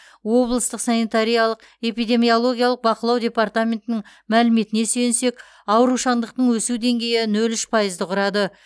облыстық санитариялық эпидемиологиялық бақылау департаментінің мәліметіне сүйенсек аурушаңдықтың өсу деңгейі нөл үш пайызды құрады